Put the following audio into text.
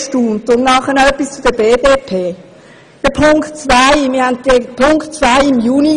Noch eine Anmerkung an die Adresse der BDP: Wir haben im vergangenen Juni bereits über den Punkt 2 gesprochen.